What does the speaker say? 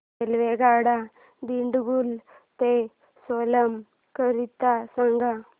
रेल्वेगाड्या दिंडीगुल ते सेलम करीता सांगा